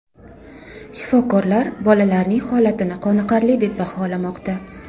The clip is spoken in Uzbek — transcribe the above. Shifokorlar bolalarning holatini qoniqarli deb baholamoqda.